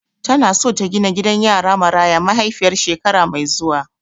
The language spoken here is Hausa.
Tana so ta gina gidan yara Maraya mahaifiyar shekara mai zuwa.